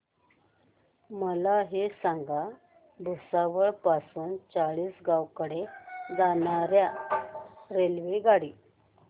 मला हे सांगा भुसावळ पासून चाळीसगाव कडे जाणार्या रेल्वेगाडी